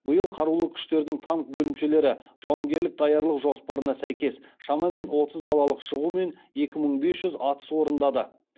биыл қарулы күштердің танк бөлімшелері жауынгерлік даярлық жоспарына сәйкес шамамен отыз далалық шығу мен екі мың бес жүз атыс орындады